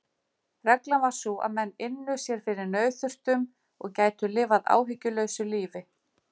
Reglan var sú að menn ynnu sér fyrir nauðþurftum og gætu lifað áhyggjulausu lífi.